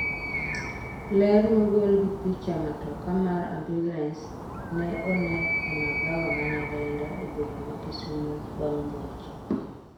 ler mogol gi picha matoka mar ambulans ne one e magawa ma Nyalenda e boma ma Kisumo, bang' muoch